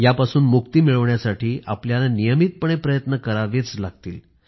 यापासून मुक्ती मिळवण्यासाठी आपल्याला नियमितपणे प्रयत्न करावेच लागतील